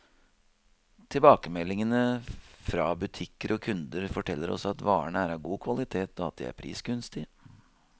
Tilbakemeldingene fra butikker og kunder, forteller oss at varene er av god kvalitet, og at de er prisgunstige.